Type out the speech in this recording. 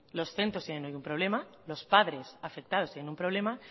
los centros tiene un problema los padres afectados tiene un problema